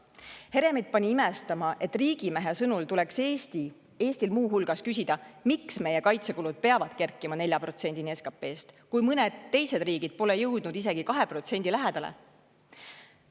Heremit pani imestama, et selle riigimehe sõnul tuleks Eestil muu hulgas küsida, miks meie kaitsekulud peavad kerkima 4%‑ni SKP‑st, kui mõned teised riigid pole jõudnud isegi 2% lähedale.